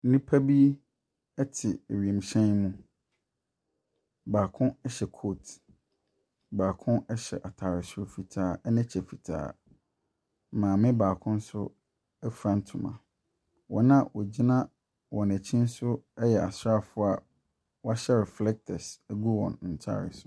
Nnipa bi te wiemhyɛn mu. Baako hyɛ kooti, baako hyɛ ataare fitaa ne kyɛ fitaa. Maame baako nso fura ntoma. Wyn a wɔgyina wɔn akyi ne nso yɛ asraafo a wɔahyɛ reflectors agu wyn ntaare so.